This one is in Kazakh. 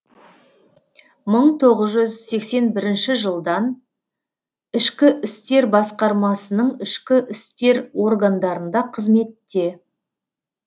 мың тоғыз жүз сексен бірінші жылдан ішкі істер басқармасы ішкі істер органдарында қызметте